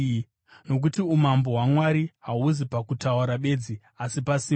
Nokuti umambo hwaMwari hahuzi pakutaura bedzi asi pasimba.